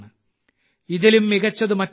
ഇതിലും മികച്ചത് മറ്റെന്താണ്